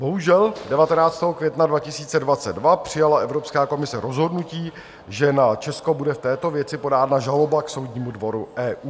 Bohužel, 19. května 2022 přijala Evropská komise rozhodnutí, že na Česko bude v této věci podána žaloba k Soudnímu dvoru EU.